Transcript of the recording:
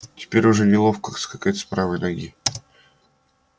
теперь уже неловко скакать с правой ноги